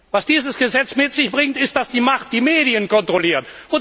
Was dieses Gesetz mit sich bringt, ist dass die Macht die Medien kontrolliert.